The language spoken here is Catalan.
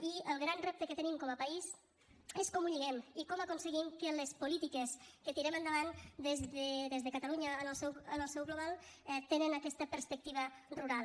i el gran repte que tenim com a país és com ho lliguem i com aconseguim que les polítiques que tirem endavant des de catalunya en el seu global tinguin aquesta perspectiva rural